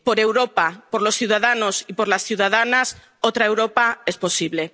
Por Europa, por los ciudadanos y por las ciudadanas, otra Europa es posible.